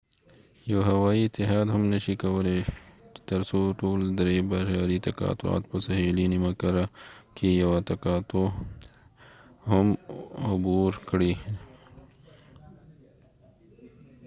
یو هوایې اتحاد هم نشې کولای ترڅو ټول درې بحري تقاطعات په سهیلي نیمه کره کې عبور کړي او skyteam یوه تقاطع هم نشې پوښلی.